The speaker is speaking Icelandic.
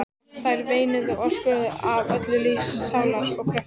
Þær veinuðu og öskruðu af öllum lífs og sálar kröftum.